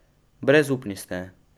Brezupni ste.